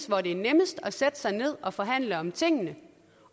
hvor det er nemmest at sætte sig ned og forhandle om tingene